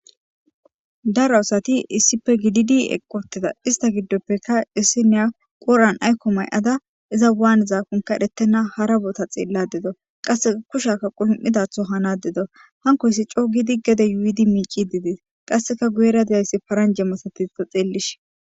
Daro asathi issippe gididi eqquuththida; istha giddoppekka issinniya quuran aykko may7ada izan waanizakonkka ereththenna hara bootha xeelladde dawu; qassi kushiyakka qulum7idaatho hanaadde dawu; awunkko issi coo giidi gede yuuyidi miicciidde dees; qassikka guyeera diya paranja misatiya xeellishe.